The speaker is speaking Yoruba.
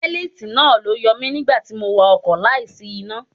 Bélítì náà ló yọ mi nígbà tí mò ń wa ọkọ̀ láì ní iná.